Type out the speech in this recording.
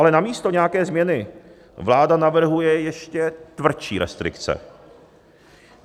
Ale namísto nějaké změny vláda navrhuje ještě tvrdší restrikce.